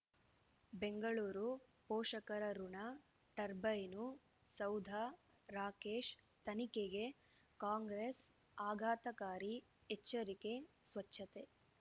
ಬೆಂಗಳೂರು ಪೋಷಕರಋಣ ಟರ್ಬೈನು ಸೌಧ ರಾಕೇಶ್ ತನಿಖೆಗೆ ಕಾಂಗ್ರೆಸ್ ಆಘಾತಕಾರಿ ಎಚ್ಚರಿಕೆ ಸ್ವಚ್ಛತೆ